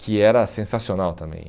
que era sensacional também.